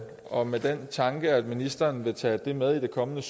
og med den tanke at ministeren vil tage det med i den kommende